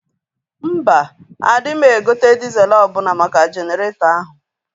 Mba, adịma egote dịzel ọbụna maka Jeneretọ ahụ